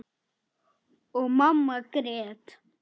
Og mamma grét.